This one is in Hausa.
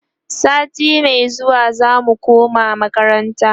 sati Mai zuwa zamu koma makaranta